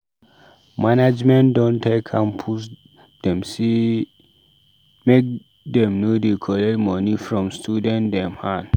Management don tell campus pastor dem sey make dem no dey collect moni from student dem hand.